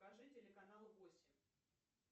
покажи телеканал восемь